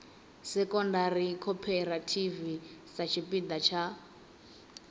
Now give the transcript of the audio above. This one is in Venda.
secondary cooperative sa tshipiḓa tsha